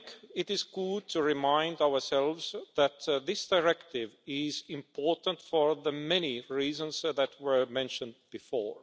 It is good to remind ourselves that this directive is important for the many reasons that were mentioned before.